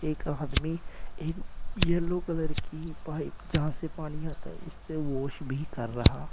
एक आदमी एक येलो कलर की पाइप जहां से पानी आता है उससे वॉश भी कर रहा--